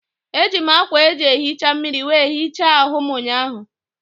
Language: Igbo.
Eji m ákwà eji ehicha mmiri wee hichaa ahụ m ụnyaahụ.